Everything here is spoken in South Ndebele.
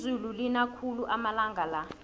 izulu lina khulu amalanga la